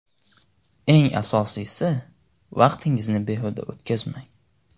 Eng asosiysi, vaqtingizni behuda o‘tkazmang!